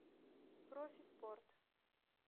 профи спорт